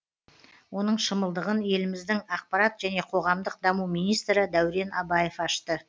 оның шымылдығын еліміздің ақпарат және қоғамдық даму министрі дәурен абаев ашты